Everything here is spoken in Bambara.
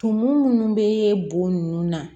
Tumu munnu bɛ bo nun na